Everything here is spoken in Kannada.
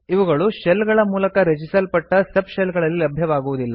ಇವುಗಳು ಶೆಲ್ ಗಳ ಮೂಲಕ ರಚಿಸಲ್ಪಟ್ಟ ಸಬ್ ಶೆಲ್ ಗಳಲ್ಲಿ ಲಭ್ಯವಾಗುವುದಿಲ್ಲ